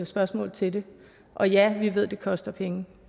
spørgsmål til det og ja vi ved at det koster penge